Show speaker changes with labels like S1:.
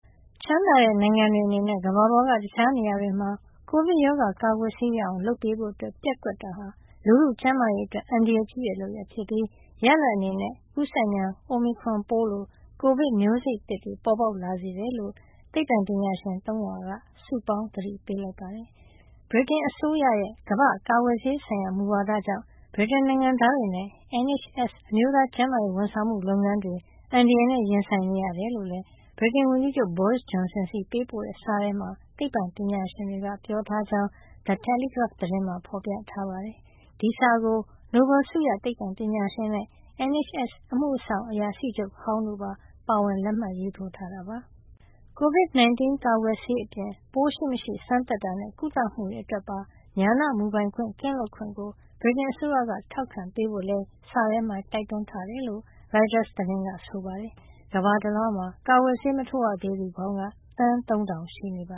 S1: ချမ်းသာတဲ့နိုင်ငံတွေအနေနဲ့ ကမ္ဘာပေါ်က တခြားနေရာတွေမှာ ကိုဗစ်ရောဂါ ကာကွယ်ဆေးရအောင် လုပ်ပေးဖို့ ပျက်ကွက်တာဟာ လူထုကျန်းမာရေးအတွက် အန္တရာယ်ကြီးတဲ့ လုပ်ရပ်ဖြစ်ပြီး ရလဒ်အနေနဲ့ ကူးစက်မြန် အိုမီခရွန်ပိုးလို ကိုဗစ်မျိုးစိတ်သစ်တွေ ပေါ်ပေါက်လာစေတယ်လို့ သိပ္ပံပညာရှင် ၃၀၀ က စုပေါင်းသတိပေးလိုက်ပါတယ်။ ဗြိတိန်အစိုးရရဲ့ ကမ္ဘာ့ကာကွယ်ဆေးဆိုင်ရာ မူဝါဒကြောင့် ဗြိတိန်နိုင်ငံသားတွေနဲ့ NHS အမျိုးသားကျန်းမာရေးဝန်ဆောင်မှု လုပ်ငန်းတွေ အန္တရာယ်နဲ့ ရင်ဆိုင်နေရတယ်လို့လည်း ဗြိတိန်ဝန်ကြီးချုပ် Boris Johnson ဆီပေးပို့တဲ့ စာထဲမှာ သိပ္ပံပညာရှင်တွေက ပြောကြားထားကြောင်း The Telegraph သတင်းမှာ ဖော်ပြပါတယ်။ ဒီစာကို နိုဘဲလ်ဆုရ သိပ္ပံပညာရှင်နဲ့ NHS အမှုဆောင်အရာရှိချုပ်ဟောင်းတို့ပါ ပါဝင်လက်မှတ်ရေးထိုးထားတာ ဖြစ်ပါတယ်။ COVID-19 ကာကွယ်ဆေးအပြင် ပိုးရှိမရှိ စမ်းသပ်တာနဲ့ ကုသမှုတွေအတွက်ပါ ဉာဏမူပိုင်ခွင့် ကင်းလွတ်ခွင့်ကို ဗြိတိန်အစိုးရက ထောက်ခံပေးဖို့လည်း စာထဲမှာ တိုက်တွန်းထားတယ်လို့ ရိုက်တာသတင်းက ဆိုပါတယ်။ ကမ္ဘာတလွှား ကာကွယ်ဆေး မထိုးရသေးသူ
S2: ပေါင်းက သန်း ၃,၀၀၀ ရှိနေတာ